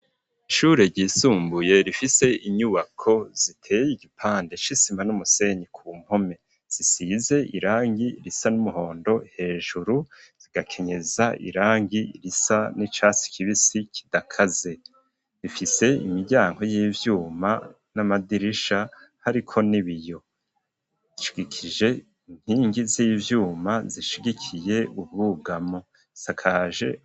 Ishure ryisumbuye rifise inyubako ziteye igipande c'isima n'umusenyi, ku mpome zisize irangi risa n'umuhondo, hejuru zigakenyeza irangi risa n,icatsi kibisi kidakaze ,rifise imiryango y'ivyuma n'amadirisha hariko n'ibiyo, ishigikije inkingi z'ivyuma zishigikiye ubwugamo zisakaje.